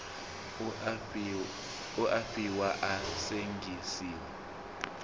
u a fariwa a sengisiwa